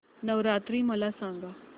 नवरात्री मला सांगा